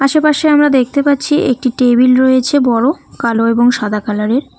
আশেপাশে আমরা দেখতে পাচ্ছি একটি টেবিল রয়েছে বড় কালো এবং সাদা কালারের।